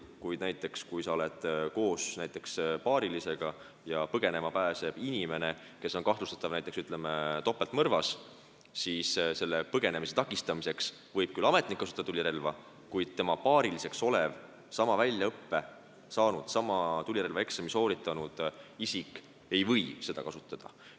Kuid näiteks, kui sa oled koos paarilisega ja põgenema pääseb kahtlustatav näiteks topeltmõrvas, siis põgenemise takistamiseks võib küll ametnik kasutada tulirelva, kuid tema paariline, sama väljaõppe saanud ja sama relvaeksami sooritanud isik ei või seda kasutada.